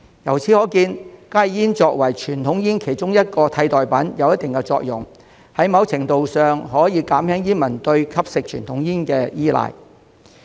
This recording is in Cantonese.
由此可見，加熱煙作為傳統煙其中一種替代品，有一定的作用，在某程度上可減輕煙民對吸食傳統煙的依賴。